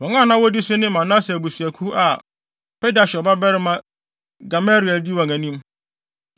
Wɔn a na wodi so ne Manase abusuakuw a Pedahsur babarima Gamaliel di wɔn anim;